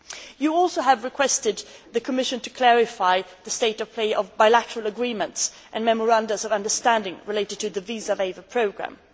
You have also requested the Commission to clarify the state of play on bilateral agreements and memoranda of understanding relating to the visa waiver programme.